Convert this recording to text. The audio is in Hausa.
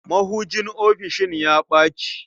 Mahujin ofisishin ya ɓaci.